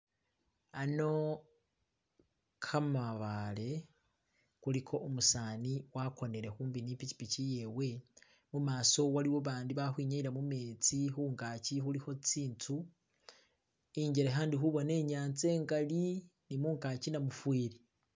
Ano gamabale kuliko umuseza agonele kumpi ni pikipiki iyewe, mumaso waliwo bandi balikwinyayila mumenzi kungaji kuliko zinzu. Injeleka ndi kubona inyanza ingaali ni mungaji namufeeri.